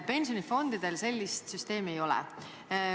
Pensionifondidel sellist süsteemi ei ole.